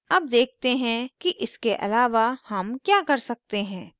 अब देखते हैं कि इसके आलावा हम क्या कर सकते हैं